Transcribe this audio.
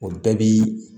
O bɛɛ bi